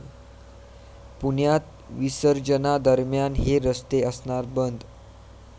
पुण्यात विसर्जनादरम्यान हे रस्ते असणार बंद